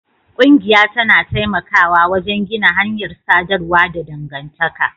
Ƙungiya tana taimakawa wajen gina hanyar sadarwa da dangantaka